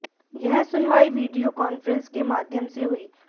यह सुनवाई video conference के माध्यम से हुई